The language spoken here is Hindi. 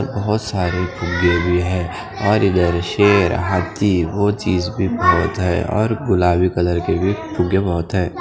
बहोत सारे भेडिये हे और इधर शेर हाथी वो चीज भी बहोत हे और गुलाबी कलर के भी फुग्गे बहोत हैं।